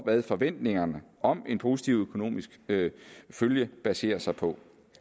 hvad forventningerne om en positiv økonomisk følge baserer sig på